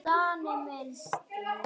Steini kunni ráð við því.